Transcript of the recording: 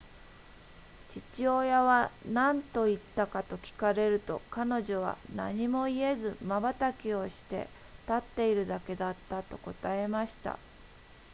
父親は何と言ったかと聞かれると彼女は何も言えずまばたきをして立っているだけだったと答えました